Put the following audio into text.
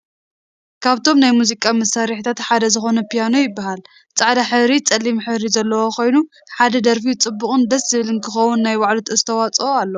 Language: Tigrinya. ካብቶም ናይ ሙዚቃ መሳርሕታት ሓደ ዝኮነ ፕያኖ ይብሃል። ፃዕዳ ሕብሪ ፀሊም ሕብሪ ዘለዋ ኮይና ሓደ ደርፊ ፅቡቅን ደስ ዝብል ክከውን ናይ ባዕሉ ኣስተዋፅኦ ኣለዎ።